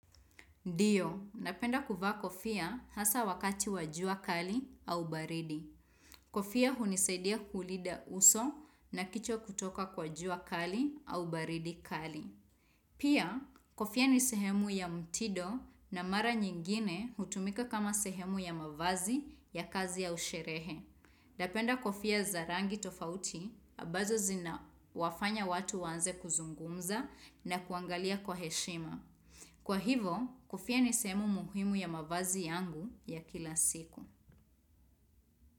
Ndio, napenda kuvaa kofia hasa wakati wa jua kali au baridi. Kofia hunisaidia kulinda uso na kichwa kutoka kwa jua kali au baridi kali. Pia, kofia ni sehemu ya mtido na mara nyingine hutumika kama sehemu ya mavazi ya kazi au sherehe. Napenda kofia za rangi tofauti, ambazo zinawafanya watu waanze kuzungumza na kuangalia kwa heshima. Kwa hivo, kofia nisehemu muhimu ya mavazi yangu ya kila siku.